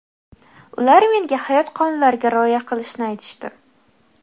Ular menga hayot qonunlariga rioya qilishni aytishdi.